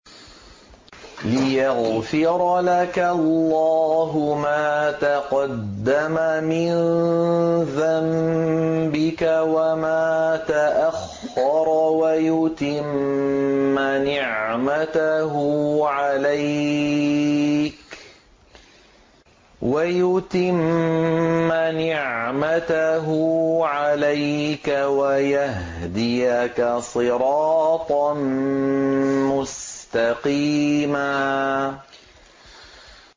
لِّيَغْفِرَ لَكَ اللَّهُ مَا تَقَدَّمَ مِن ذَنبِكَ وَمَا تَأَخَّرَ وَيُتِمَّ نِعْمَتَهُ عَلَيْكَ وَيَهْدِيَكَ صِرَاطًا مُّسْتَقِيمًا